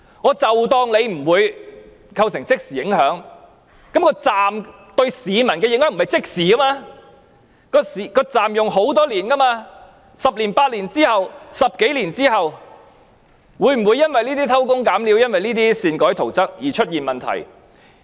即使假設不會構成即時影響，但車站對市民的影響並非即時，車站將會使用很多年 ，10 年或10多年後，會否因為這些偷工減料和擅改圖則的情況而出現問題？